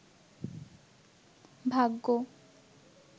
ভাগ্য